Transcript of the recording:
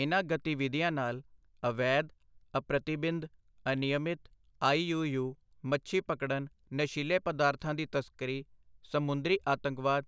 ਇਨ੍ਹਾਂ ਗਤੀਵਿਧੀਆਂ ਨਾਲ ਅਵੈਧ ਅਪ੍ਰਤੀਬਿੰਧ ਅਨਿਯਮਿਤ ਆਈ ਯੂ ਯੂ ਮੱਛੀ ਪਕੜਣ, ਨਸ਼ੀਲੇ ਪਦਾਰਥਾਂ ਦੀ ਤਸਕਰੀ, ਸਮੁੰਦਰੀ ਆਤੰਕਵਾਦ,